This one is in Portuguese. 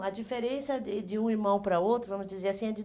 a diferença eh de um irmão para outro, vamos dizer assim, é de